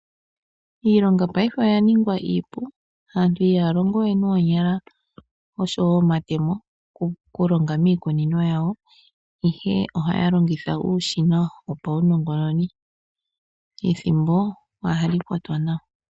Iilonga paife oya ningwa iipu. Aantu ihaya longowe noonyala nosho woo nomatemo okulonga miikunino yawo, ashike ohaya longitha uushina wopawunongononi. Ethimbo ohali kwatwa nawa.